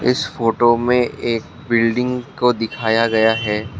इस फोटो में एक बिल्डिंग को दिखाया गया है।